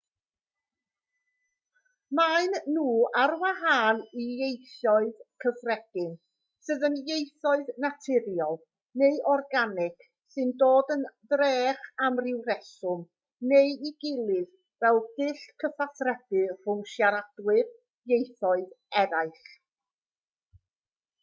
maen nhw ar wahân i ieithoedd cyffredin sydd yn ieithoedd naturiol neu organig sy'n dod yn drech am ryw reswm neu'i gilydd fel dull cyfathrebu rhwng siaradwyr ieithoedd eraill